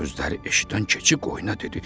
Bu sözləri eşidən keçi qoyuna dedi: